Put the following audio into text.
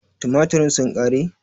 Tumaturen sun ƙare?